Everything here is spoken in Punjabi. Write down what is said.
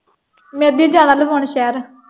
ਮੈਂ ਅੱਜੇ ਹੀ ਜਾਣਾ ਲਵਾਉਣ ਸ਼ਹਿਰ।